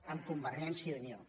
amb convergència i unió